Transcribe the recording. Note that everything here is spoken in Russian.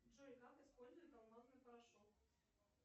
джой как используют алмазный порошок